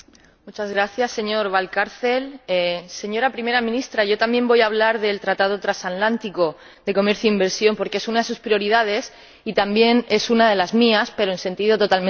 Señor Presidente, señora Primera Ministra, yo también voy a hablar del Tratado Transatlántico de Comercio e Inversión porque es una de sus prioridades y también es una de las mías, pero en sentido totalmente opuesto.